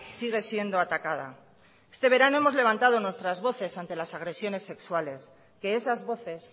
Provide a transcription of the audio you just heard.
sigue siendo atacada este verano hemos levantado nuestras voces ante las agresiones sexuales que esas voces